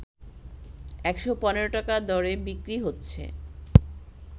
১১৫ টাকা দরে বিক্রি হচ্ছে